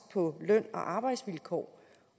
på løn og arbejdsvilkår